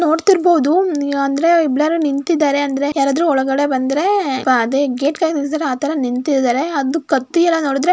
ನೋಡುತ್ತಿರಬಹುದು ಅಂದ್ರೆ ಎಲ್ಲರೂ ನಿಂತಿದ್ದಾರೆ ಅಂದ್ರೆ ಯಾರಾದ್ರು ಒಳಗಡೆ ಬಂದ್ರೆ ಪ ಅದೇ ಗೇಟ್ ಕಾಯತ್ತಿದ್ದರೆ ಆತರ ನಿಂತಿದ್ದರೆ ಅದು ಕತ್ತಿಯೆಲ್ಲಾ ನೋಡಿದ್ರೆ --